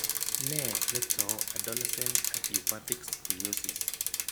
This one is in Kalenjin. Nee netou adolescent idiopathic scoliosis?